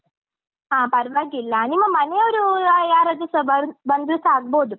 ಹಾ ಪರ್ವಾಗಿಲ್ಲ ನಿಮ್ಮ ಮನೆಯವರು ಯಾರದ್ರುಸ ಬಂದ್~ ಬಂದ್ರುಸ ಆಗ್ಬೋದು.